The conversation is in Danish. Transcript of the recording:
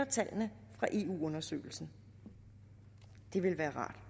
tallene fra eu undersøgelsen det ville være rart